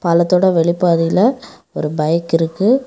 பாலத்தோட வெளிப்பாதைல ஒரு பைக் இருக்கு.